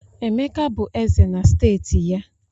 Emeka bụ Eze na steeti ya